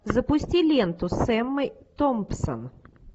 запусти ленту с эммой томпсон